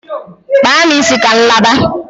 Kpaa m isi ka m laba!